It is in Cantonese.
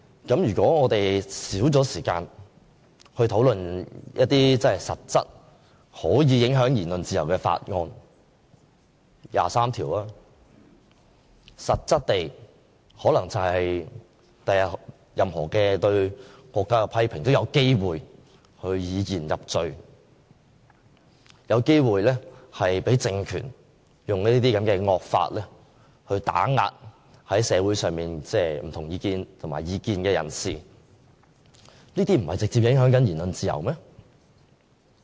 如果我們少了時間討論一些實質可以影響言論自由的法案，例如第二十三條，日後任何對國家的批評都有機會以言入罪，有機會被這個政權以惡法打壓社會上的異見人士，這不是直接影響言論自由嗎？